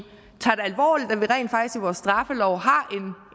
vores straffelov har